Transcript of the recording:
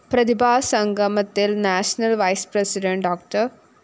പ്രതിഭാസംഗമത്തില്‍ national vice president Dr